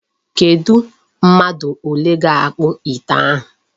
Kedụ mmadụ ole ga-akpụ ite ahụ.